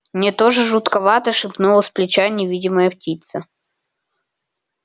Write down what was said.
мне тоже жутковато шепнула с плеча невидимая птица